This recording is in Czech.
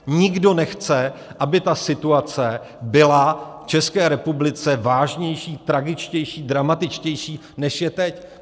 Nikdo nechce, aby ta situace byla v České republice vážnější, tragičtější, dramatičtější, než je teď.